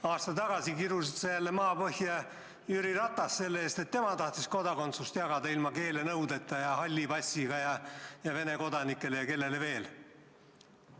Aasta tagasi kirusid sa jälle maapõhja Jüri Ratast selle eest, et tema tahtis kodakondsust jagada ilma keelenõudeta ning halli passiga ja Vene kodanikele ja kellele veel.